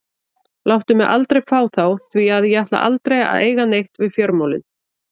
Láttu mig aldrei fá þá því að ég ætla aldrei að eiga neitt við fjármálin.